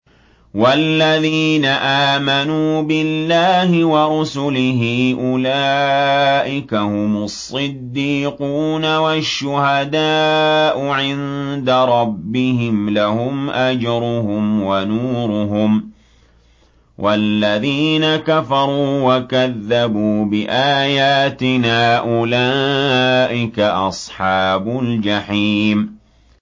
وَالَّذِينَ آمَنُوا بِاللَّهِ وَرُسُلِهِ أُولَٰئِكَ هُمُ الصِّدِّيقُونَ ۖ وَالشُّهَدَاءُ عِندَ رَبِّهِمْ لَهُمْ أَجْرُهُمْ وَنُورُهُمْ ۖ وَالَّذِينَ كَفَرُوا وَكَذَّبُوا بِآيَاتِنَا أُولَٰئِكَ أَصْحَابُ الْجَحِيمِ